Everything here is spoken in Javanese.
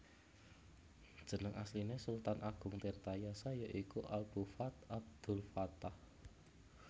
Jeneng asline Sultan Ageng Tirtayasa ya iku Abu Fath Abdulfattah